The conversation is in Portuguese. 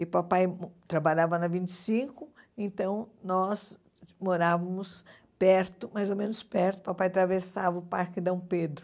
E papai trabalhava na vinte e cinco, então nós morávamos perto, mais ou menos perto, papai atravessava o Parque Dom Pedro.